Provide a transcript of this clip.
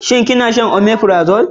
Ki na shan omefirazole?